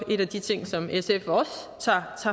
en af de ting som sf tager